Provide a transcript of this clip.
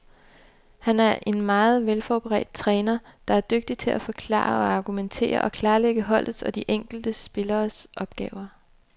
Han er en meget velforberedt træner, der er dygtig til at forklare og argumentere og klarlægge holdets og de enkelte spilleres opgaver.